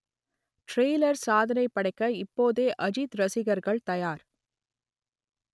trailer சாதனைப் படைக்க இப்போதே அஜித் ரசிகர்கள் தயார்